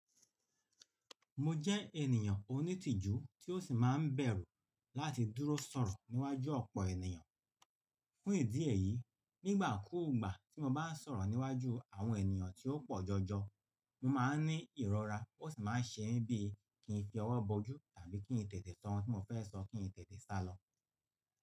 Mo jẹ́ ènìyàn onítìjú tí ó sì máa ń bẹ̀rù láti dúró sọ̀rọ̀ níwájú ọ̀pọ̀ ènìyàn. Fún ìdí èyí, nígbà kúùgbà tí mo bá ń sọ̀rọ̀ níwájú àwọn ènìyàn tí ó pọ̀ jọjọ, mo máa ń ní ìrora ó sì máa ń ṣe mí bíi kí n fi ọwọ́ bo ojú tàbí kí n tètè sọ ohun tí mo fẹ́ sọ kí n tètè sálọ.